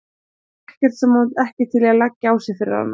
Það var ekkert sem hann var ekki til í að leggja á sig fyrir hana.